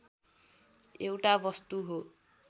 एउटा वस्तु हो